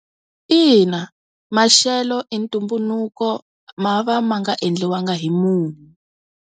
Ina, maxelo i ntumbuluko ma va ma nga endliwaka hi munhu.